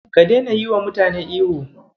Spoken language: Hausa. Ka daina yiwa mutane ihu.